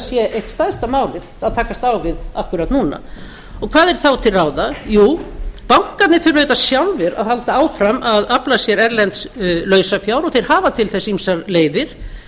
sé eitt stærsta málið að takast á við akkúrat núna og hvað er þá til ráða jú bankarnir þurfa auðvitað sjálfir að halda áfram að afla sér erlends lausafjár og þeir hafa til þess ýmsar leiðir